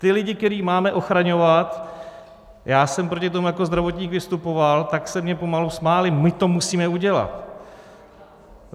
Ti lidé, které máme ochraňovat, já jsem proti tomu jako zdravotník vystupoval, tak se mně pomalu smáli: my to musíme udělat.